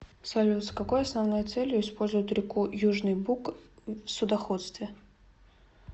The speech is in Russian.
салют с какой основной целью используют реку южный буг в судоходстве